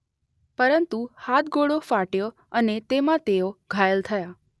પરંતુ હાથગોળો ફાટ્યો અને તેમાં તેઓ ઘાયલ થયા.